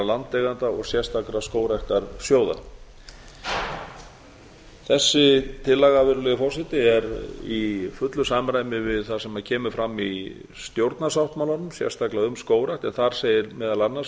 landeigenda og sérstakra skógræktarsjóða þessi tillaga virðulegi forseti er í fullu samræmi við það sem kemur fram í stjórnarsáttmálanum sérstaklega um skógrækt en þar segir meðal annars